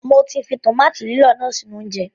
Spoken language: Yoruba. Mọ ti fi tòmáàtì lílọ̀ náà sínú oúnjẹ.